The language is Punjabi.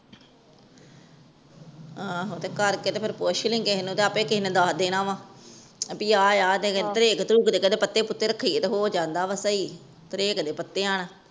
ਆਹੋ ਤੇ ਕਰਕੇ ਤੇ ਪੁੱਛ ਲਾਇ ਕਿਸੇ ਨੂੰ ਤੇ ਆਪਿ ਕਿਸੇ ਨੇ ਦਸ ਦੇਣਾ ਵਾ ਬੀ ਅਵ ਏ ਤੇ ਟਰੈਕ ਦੇ ਪੱਤੇ ਪੁਟੇ ਰੱਖੀਏ ਤੇ ਹੋ ਜਾਂਦਾ ਵ ਸਹੀ ਤਾਰੀਕ ਦੇ ਪਤੀਆਂ ਨਾਲ